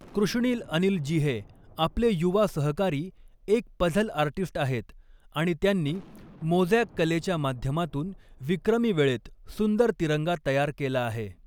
कृष्णील अनिल जीहे आपले युवा सहकारी, एक पझल आर्टिस्ट आहेत आणि त्यांनी मोज़ॅक कलेच्या माध्यमातून विक्रमी वेळेत सुंदर तिरंगा तयार केला आहे.